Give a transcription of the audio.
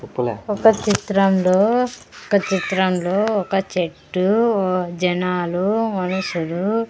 ఒక చిత్రంలో ఒక చిత్రంలో ఒక చెట్టు జనాలు మనుషులు.